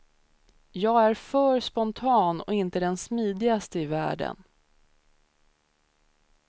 Jag är för spontan och inte den smidigaste i världen.